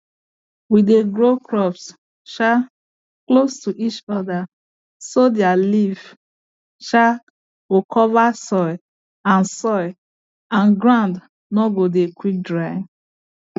we dey grow crops um close to each other so their leaf um go cover soil and soil and ground no go dey quick dry